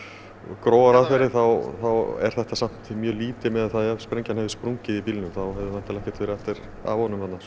grófar aðferðir þá er þetta mjög lítið miðað við það ef sprengja hefði sprungið í bílnum þá hefði væntanlega ekkert verið eftir af honum þarna